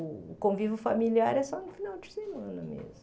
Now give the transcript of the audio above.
O convívio familiar é só no final de semana mesmo.